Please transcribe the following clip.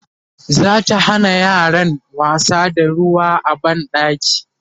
zata Hana yaran wasa da ruwa a banɗaki